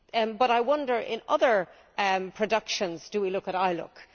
But I wonder in other productions, do we look at ILUC?